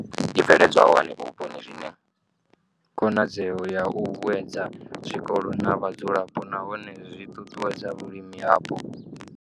I bveledzwaho henefho vhuponi zwi na khonadzeo ya u vhuedza zwikolo na vhadzulapo nahone zwi ṱuṱuwedza vhulimi hapo.